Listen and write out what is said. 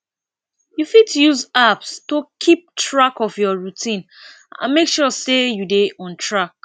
you fit use apps to keep track of your routine and make sure sey you dey on track